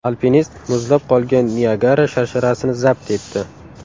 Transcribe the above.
Alpinist muzlab qolgan Niagara sharsharasini zabt etdi.